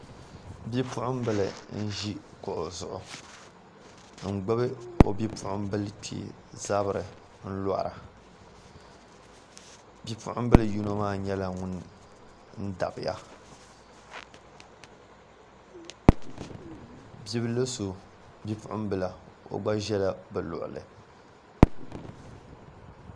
Bipuɣunbili n ʒi kuɣu zuɣu n gbubi o bipuɣunbili kpee zabiri n lora bipuɣunbili yino maa nyɛla ŋun dabiya bibil so Bipuɣunbila o gba ʒɛla bi luɣuli